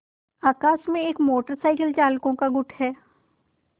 आकाश में motorcycle चालकों का एक गुट है